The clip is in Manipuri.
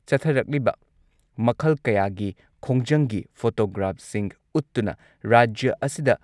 ꯆꯠꯊꯔꯛꯂꯤꯕ ꯃꯈꯜ ꯀꯌꯥꯒꯤ ꯈꯣꯡꯖꯪꯒꯤ ꯐꯣꯇꯣꯒ꯭ꯔꯥꯐꯁꯤꯡ ꯎꯠꯇꯨꯅ ꯔꯥꯖ꯭ꯌ ꯑꯁꯤꯗ